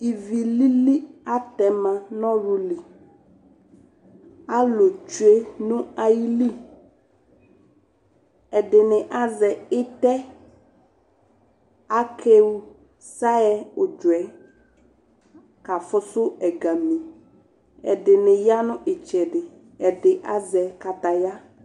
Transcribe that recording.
Ivi lili atɛ ma nʋ ɔɣlʋ li Alʋ tsue nʋ ayili Ɛdɩnɩ azɛ ɩtɛ Akewe saɣɛ ʋdzɔ yɛ kafʋsʋ ɛgami Ɛdɩnɩ ya nʋ ɩtsɛdɩ Ɛdɩ azɛ kataya